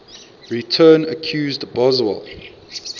return accused boswell